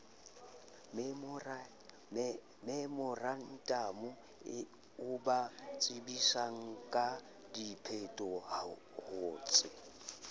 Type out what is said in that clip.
memorantamo o ba tsebisangka diphetohotse